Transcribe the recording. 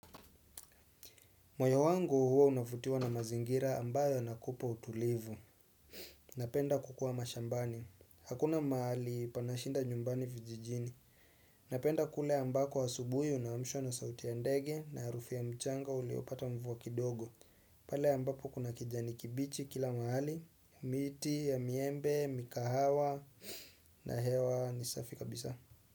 Moyo wangu huwa unafutiwa na mazingira ambayo yanakupa utulivu. Napenda kukua mashambani. Hakuna mahali panashinda nyumbani vijijini. Napenda kule ambako asubuhi unaamshwa na sauti ya ndege na harufu ya mchanga uliopata mvua kidogo. Pale ambapo kuna kijani kibichi kila maali, miti, ya miembe, mikahawa, na hewa ni safi kabisa.